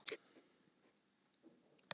Hvað segir þú, Sigurður?